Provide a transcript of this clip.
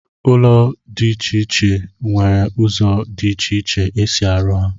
ụdị ụlọ dị iche iche nwere ụzọ dị iche iche e si arụ ha